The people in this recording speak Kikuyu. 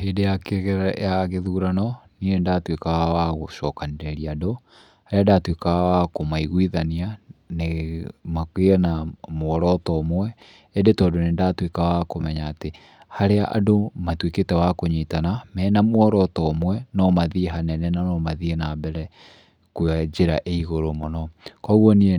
Hĩndĩ ya gĩthurano, niĩ nĩ ndatuĩkaga wa gũcokanĩrĩria andũ, nĩ ndatuĩkaga wa kũmaiguithania nĩ, magĩe na muoroto ũmwe ĩndĩ tondũ nĩ ndatuĩkaga wa kũmenya atĩ harĩa andũ matuĩkĩte wa kũnyitana mena muoroto ũmwe no mathiĩ hanene no mathiĩ na mbere kwa njĩra ĩ igũrũ mũno. Kuũguo niĩ nĩ